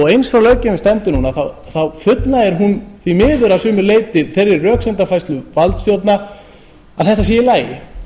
heimi eins og löggjöfin stendur núna fullnægir hún því miður að sumu leyti þeirri röksemdafærslu valdstjórna að þetta sé í lagi